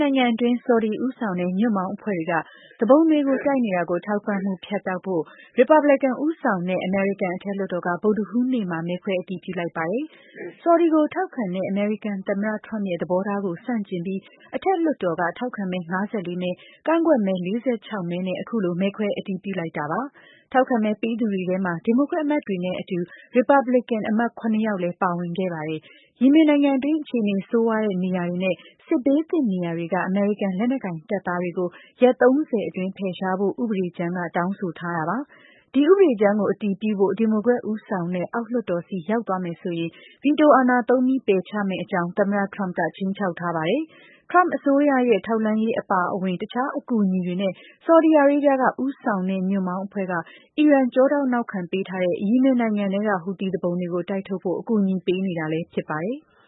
နိုင်ငံအတွင်း ဆော်ဒီဦးဆောင်တဲ့ ညွှန့်ပေါင်းအဖွဲ့တွေက သူပုန်တွေတိုက်နေတာကို ထောက်ပံ့မှု ဖြတ်တော်ဖို့ ရီပတ်ဘလစ်ကန်ဦးဆောင်တဲ့ အမေရိကန်အထက်လွှတ်တော်က ဗုဒဟူးနေ့မှာ မဲခွဲအတည်ပြုလိုက်ပါတယ်။ ဆော်ဒီကို ထောက်ခံခဲ့ အမေရိကန်သမ္မတ Trump ရဲ့ သဘောထားကို ဆန့်ကျင်ပြီး အထက်လွှတ်တော်က ထောက်ခံမဲ ၅၄ မဲ၊ ကန့်ကွက်မဲ ၄၆မဲနဲ့ အခုလို မဲခွဲအတည်ပြုလိုက်တာပါ။ ထောက်ခံမဲပေးသူတွေထဲမှာ ဒီမိုကရက်အမတ်တွေနဲ့အတူ ရီပတ်ဘလစ်ကန်အမတ် ၇ ယောက်လည်း ပါဝင်ခဲ့ပါတယ်။ ယီမင်နိုင်ငံအတွင်း အခြေအနေဆိုးရွားတဲ့နေရာတွေနဲ့ စစ်ဘေးသင့်နေရာတွေက အမေရိကန်လက်နက်ကိုင်တပ်သားတွေကို ရက် ၃၀ အတွင်း ဖယ်ရှားဖို့ ဥပဒေကြမ်းက တောင်းဆိုထားတာပါ။ ဒီဥပဒေကြမ်းကို အတည်ပြုဖို့ ဒီမိုကရက်ဦးဆောင်တဲ့ အောက်လွှတ်တော် ဆီ ရောက်သွားမယ်ဆိုရင် ဗီတိုအာဏာသုံးပြီး ပယ်ချမယ့်အကြောင်း သမ္မတ Trump က ခြိမ်းခြောက်ထားတာပါ။ Trump အစိုးရရဲ့ ထောက်လှမ်းရေးအပါအဝင် တခြားအကူအညီတွေနဲ့ ဆော်ဒီအာရေးဗျက ဦးဆောင်တဲ့ ညွှန့်ပေါင်းအဖွဲ့က အီရန် ကျောထောက်နောက်ခံပေးထားတဲ့ ယီမင်နိုင်ငံထဲက ဟူသီသူပုန်တွေကို တိုက်ထုတ်ဖို့ အကူအညီ ပေးနေတာလည်း ဖြစ်ပါတယ်။